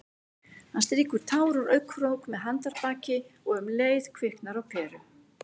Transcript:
Hann strýkur tár úr augnakrók með handarbaki- og um leið kviknar á peru.